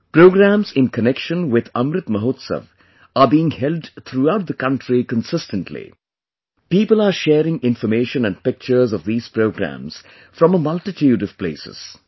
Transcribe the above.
Programmes in connection with Amrit Mahotsav are being held throughout the country consistently; people are sharing information and pictures of these programmes from a multitude of places